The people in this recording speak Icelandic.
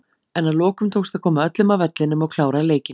En að lokum tókst að koma öllum af vellinum og klára leikinn.